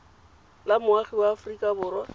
la moagi wa aforika borwa